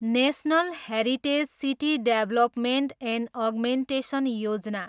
national heritage city development and augmentation Yojana